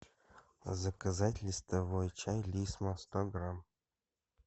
заказать листовой чай лисма сто грамм